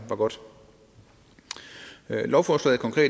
godt lovforslaget